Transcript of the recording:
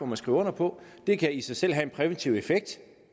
man skriver under på det kan i sig selv have en præventiv effekt